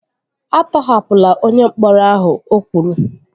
A tọhapụla onye mkpọrọ ahụ! O kwuru